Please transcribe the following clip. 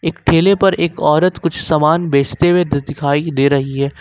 एक ठेले पर एक औरत कुछ सामान बेचते हुए दिखाई दे रही है।